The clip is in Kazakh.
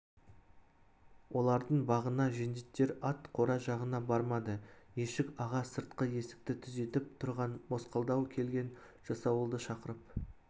олардың бағына жендеттер ат қора жағына бармады ешік-аға сыртқы есікті күзетіп тұрған мосқалдау келген жасауылды шақырып